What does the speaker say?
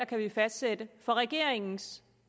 kan fastsætte af regler for regeringens